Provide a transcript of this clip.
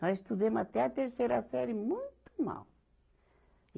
Nós estudemos até a terceira série muito mal.